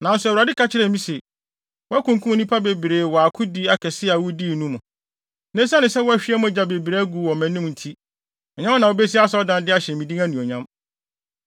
Nanso Awurade ka kyerɛɛ me se, ‘Woakunkum nnipa bebree wɔ akodi akɛse a wudii no mu. Na esiane sɛ woahwie mogya bebree agu wɔ mʼanim nti, ɛnyɛ wo na wubesi asɔredan de ahyɛ me din anuonyam.